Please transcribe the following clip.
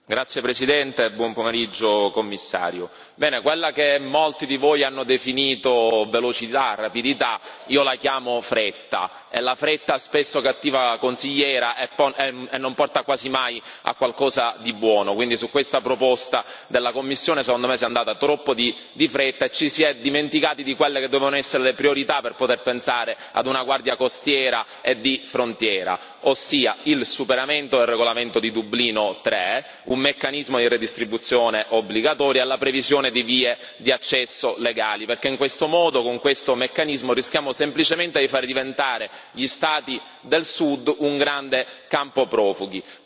Signor Presidente, onorevoli colleghi, signor Commissario, quella che molti di voi hanno definito velocità, rapidità, io la definisco fretta e la fretta è spesso cattiva consigliera e non porta quasi mai a buoni risultati. Quindi su questa proposta della Commissione secondo me si è andati troppo in fretta e ci si è dimenticati di quelle che devono essere le priorità per poter pensare a una guardia costiera e di frontiera ossia il superamento del regolamento di Dublino 3, un meccanismo di redistribuzione obbligatoria e la previsione di vie di accesso legali, perché altrimenti con il meccanismo proposto rischiamo semplicemente di far diventare gli stadi del Sud un grande campo profughi.